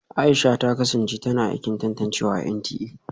Aisha ta kasance tana aikin tantancewa a NTA